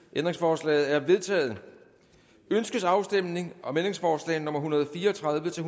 ændringsforslaget er vedtaget ønskes afstemning om ændringsforslag nummer en hundrede og fire og tredive til